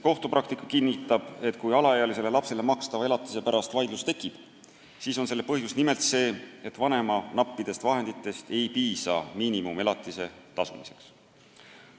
Kohtupraktika kinnitab, et kui alaealisele lapsele makstava elatise pärast tekib vaidlus, siis on põhjus nimelt see, et vanema nappidest vahenditest ei piisa miinimumelatise tasumiseks.